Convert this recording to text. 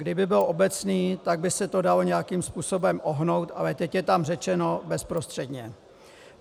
Kdyby byl obecný, tak by se to dalo nějakým způsobem ohnout, ale teď je tam řečeno bezprostředně.